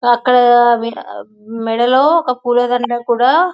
ఆ అక్కడ మెడ్ మెడలో ఒక పూలదండ కూడా--